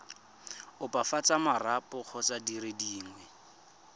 opafatsa marapo kgotsa dire dingwe